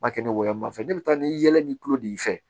N b'a kɛ n wolo ma fɛn ne bɛ taa ni yɛlɛ ni tulo de y'i fɛ